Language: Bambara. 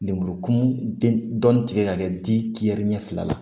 Lemurukumun dɔɔni tigɛ ka kɛ diɲɛ ɲɛfɛla la